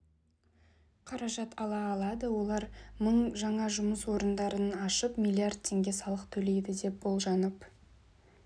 қаражат ала алады олар мың жаңа жұмыс орындарын ашып млрд теңге салық төлейді деп болжанып